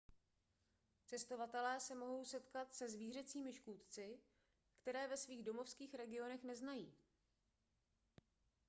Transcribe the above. cestovatelé se mohou setkat se zvířecími škůdci které ve svých domovských regionech neznají